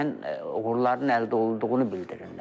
Müəyyən uğurların əldə olunduğunu bildirirlər.